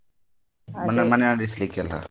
ಮನೆ ಮನೆ ನಡೆಸ್ಲಿಕ್ಕೆಲ್ಲ.